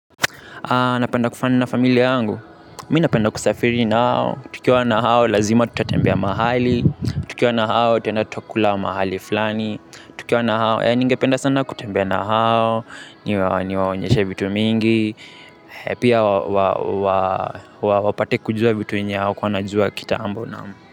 Napenda ku fun na familia yangu, mi napenda kusafiri nao, tukiwa na hao lazima tutatembia mahali, tukiwa na hao tena tutakula mahali fulani tukiwa na hao, ningependa sana kutembia na hao, niwaonyeshe vitu mingi, pia wapate kujua vitu yenye hawakuwa wanajua kitambu naam.